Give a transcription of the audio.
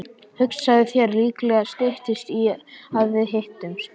Hugsaðu þér, líklega styttist í að við hittumst.